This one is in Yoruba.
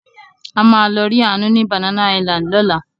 A máa lọ rí Àánú ní Banana Island lọ́la.